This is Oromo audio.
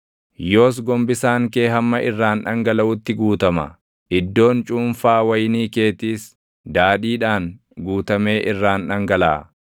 yoos gombisaan kee hamma irraan dhangalaʼutti guutama; iddoon cuunfaa wayinii keetiis // daadhiidhaan guutamee irraan dhangalaʼa.